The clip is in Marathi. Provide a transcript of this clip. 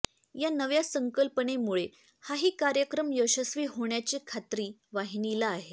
या नव्या संकल्पनेमुळे हाही कार्यक्रम यशस्वी होण्याची खात्री वाहिनीला आहे